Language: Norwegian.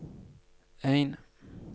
en